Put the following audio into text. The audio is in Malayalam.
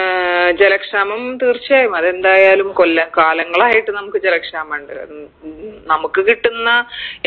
ഏർ ജലക്ഷാമം തീർച്ചയായും അതെന്തായാലും കൊല്ലം കാലങ്ങളായിട്ട് നമുക്ക് ജലക്ഷാമണ്ട് ഉം ഉം നമക്ക് കിട്ടുന്ന